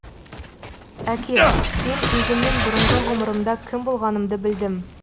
әке мен өзімнің бұрынғы ғұмырымда кім болғанымды білдім